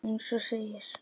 Eins og segir.